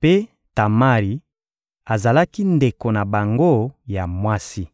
Mpe Tamari azalaki ndeko na bango ya mwasi.